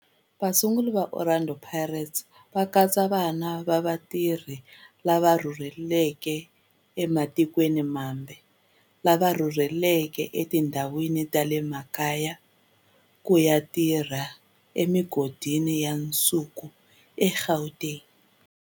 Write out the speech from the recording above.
Vasunguri va Orlando Pirates va katsa vana va vatirhi lava rhurhelaka ematikweni mambe lava rhurheleke etindhawini ta le makaya ku ya tirha emigodini ya nsuku eGauteng.